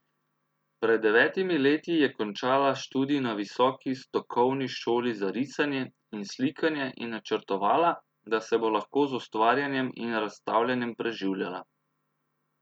Pred devetimi leti je končala študij na visoki stokovni šoli za risanje in slikanje in načrtovala, da se bo lahko z ustvarjanjem in razstavljanjem preživljala.